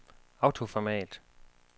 autoformat